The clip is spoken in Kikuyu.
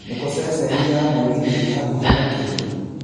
nĩkũ ceceni ya mũgithi ĩ hakũhĩ makĩria